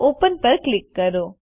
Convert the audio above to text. open પર click કરો